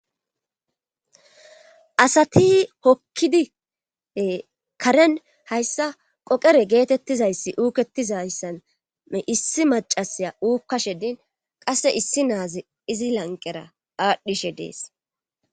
asati hokkidie karen hayssa qoqere geetettizayssi uuketizayssane issi macasaya uukkashedin qasse issi naazi izi lanqera aadhdhishe dees